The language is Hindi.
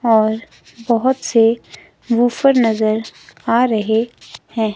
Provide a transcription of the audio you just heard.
और बहोत से वूफर नजर आ रहे हैं।